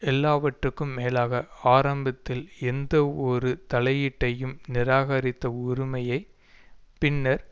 எல்லாவற்றுக்கும் மேலாக ஆரம்பத்தில் எந்தவொரு தலையீட்டையும் நிராகரித்த உறுமய பின்னர்